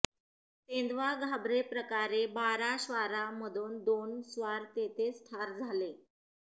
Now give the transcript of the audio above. तेधवां घाबरे प्रकारे बारा श्वारा मधोन दोन स्वार तेथे च ठार जाले